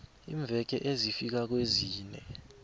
iimveke ezifika kwezine